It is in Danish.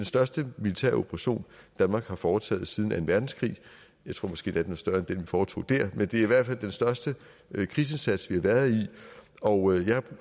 største militæroperation danmark har foretaget siden anden verdenskrig jeg tror måske endda den er større end den vi foretog der men det er i hvert fald den største krigsindsats vi har været i og jeg